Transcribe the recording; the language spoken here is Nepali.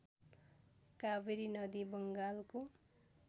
कावेरी नदी बङ्गालको